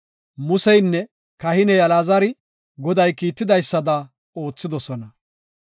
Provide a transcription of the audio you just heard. Museynne kahiney Alaazari Goday kiitidaysada oothidosona.